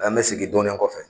An bɛ segin dɔɔni kɔfɛ.